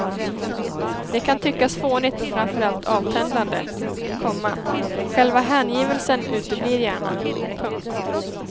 Det kan tyckas fånigt och framför allt avtändande, komma själva hängivelsen uteblir gärna. punkt